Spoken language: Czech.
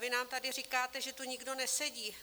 Vy nám tady říkáte, že tu nikdo nesedí.